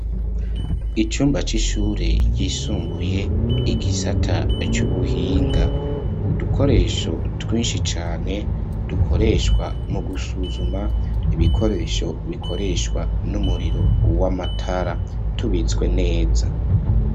Icumba c'ishure ryisumbuye igisata c'ubuhinga, udukoresho twinshi cane dukoreshwa mu gusuzuma ibikoresho bikoreshwa n'umuriro w'amatara, tubitswe neza.